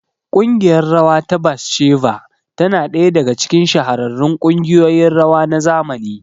ƙungiyar rawa ta Batsheva tana ɗaya daga cikin shahararrun kungiyoyin rawa na zamani.